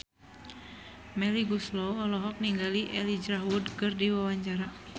Melly Goeslaw olohok ningali Elijah Wood keur diwawancara